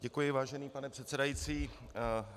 Děkuji, vážený pane předsedající.